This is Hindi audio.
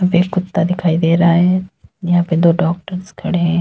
एक कुत्ता दिखाई दे रहा है यहां पे दो डॉक्टर्स खड़े हैं।